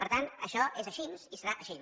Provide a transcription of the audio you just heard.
per tant això és així i serà així